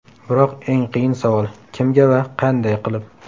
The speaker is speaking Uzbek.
Biroq eng qiyin savol: kimga va qanday qilib?